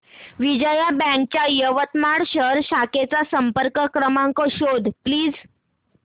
Vijaya bank च्या यवतमाळ शहर शाखेचा संपर्क क्रमांक शोध प्लीज